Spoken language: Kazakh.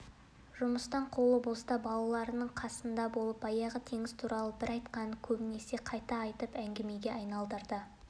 жұмыстан қолы боста балалардың қасында болып баяғы теңіз туралы бір айтқанын көбінесе қайта айтып әңгімеге айналдырды